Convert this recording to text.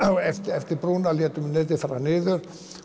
eftir brúnni létum netið fara niður